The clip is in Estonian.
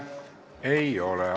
Ei ole.